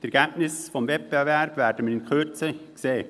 Die Ergebnisse des Wettbewerbes werden wir in Kürze sehen.